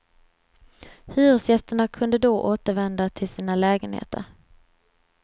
Hyresgästerna kunde då återvända till sina lägenheter.